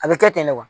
A bɛ kɛ ten de wa